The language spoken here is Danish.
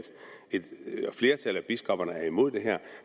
flertallet af biskopperne er imod det her